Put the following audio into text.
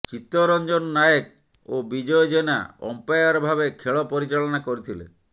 ଚିତରଂଜନ ନାୟକ ଓ ବିଜୟ ଜେନା ଅମ୍ପାୟାର ଭାବେ ଖେଳ ପରିଚାଳନା କରିଥିଲେ